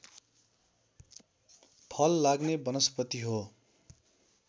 फल लाग्ने वनस्पति हो